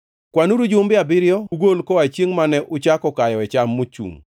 Kwanuru jumbe abiriyo ugol koa chiengʼ mane uchako kayoe cham mochungʼ.